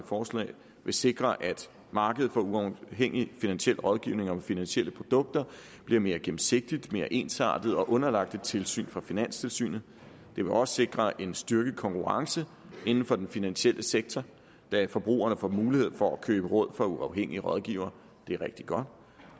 forslag vil sikre at markedet for uafhængig finansiel rådgivning om finansielle produkter bliver mere gennemsigtigt mere ensartet og underlagt et tilsyn fra finanstilsynet det vil også sikre en styrket konkurrence inden for den finansielle sektor da forbrugerne får mulighed for at købe råd af uafhængige rådgivere det er rigtig godt